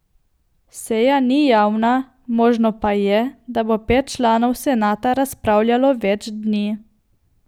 Seja ni javna, možno pa je, da bo pet članov senata razpravljalo več dni.